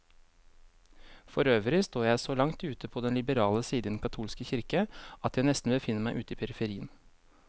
Forøvrig står jeg så langt ute på den liberale side i den katolske kirke, at jeg nesten befinner meg ute i periferien.